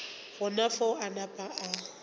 gona fao a napa a